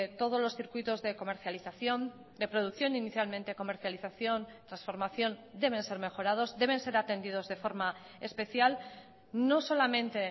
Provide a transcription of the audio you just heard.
todos los circuitos de comercialización de producción inicialmente comercialización transformación deben ser mejorados deben ser atendidos de forma especial no solamente